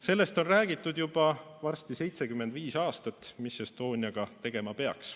Sellest, mida Estoniaga tegema peaks, on räägitud varsti juba 75 aastat.